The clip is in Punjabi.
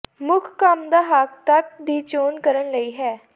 ਮੁੱਖ ਕੰਮ ਦਾ ਹੱਕ ਤੱਤ ਦੀ ਚੋਣ ਕਰਨ ਲਈ ਹੈ